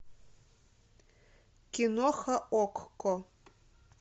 киноха окко